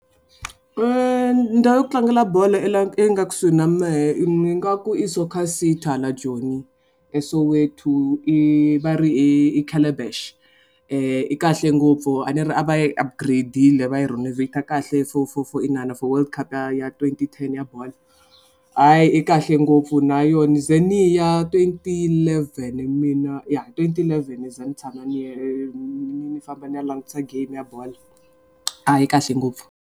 Ndhawu ya ku tlangela bolo i lawa ya nga kusuhi na mehe ni nga ku i soccer city ha la joni, eSoweto. I va ri i calabash. I kahle ngopfu a ni ri a va yi upgrade-ile va yi renovate kahle i for for for inana for world cup ya twenty ten ya bolo. A yi kahle ngopfu na yona ni ze ni ya twenty eleven ya twenty eleven za ni tshama ni ni ni famba ni ya langutisa game ya ball a yi kahle ngopfu.